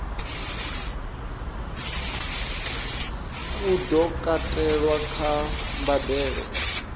u do katelwa kha mbadelo